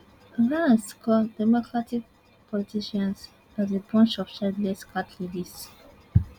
vance call democratic politicians as a bunch of childless cat ladies